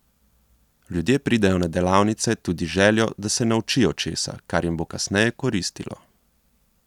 Ljudje pridejo na delavnice tudi z željo, da se naučijo česa, kar jim bo kasneje koristilo.